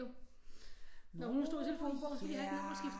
Jo når hun stod i telefonbogen så kunne jeg ikke nå at skifte